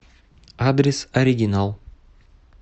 адрес оригинал